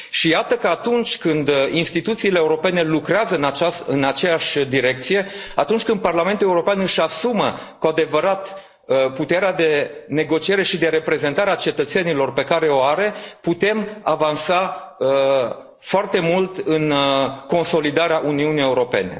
Și iată că atunci când instituțiile europene lucrează în aceeași direcție, atunci când Parlamentul European își asumă cu adevărat puterea de negociere și de reprezentare a cetățenilor pe care o are, putem avansa foarte mult în consolidarea Uniunii Europene.